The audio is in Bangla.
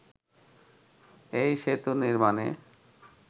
এই সেতু নির্মাণে